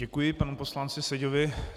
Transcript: Děkuji panu poslanci Seďovi.